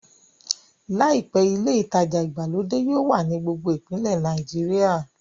Làìpé, ilé ìtajà ìgbàlódé yóò wà ní gbogbo ìpínlẹ̀ Nàìjíríà